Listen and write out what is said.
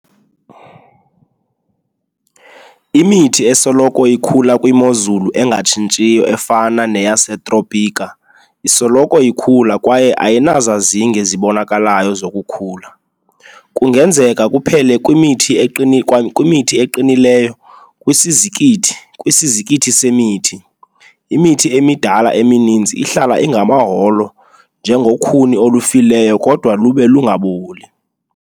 Imithi esoloko ikhula kwimozulu engatshintshiyo efana neyaseTropika isoloko ikhula kwaye ayinazazinge zibonakalayo zokukhula. Kungenzeka kuphela kwimithi eqinileyo kwisizikithi kwisizikithi semithi, imithi emidala emininzi ihlala ingamaholo njengokhuni olufileyo kodwa lube lungaboli.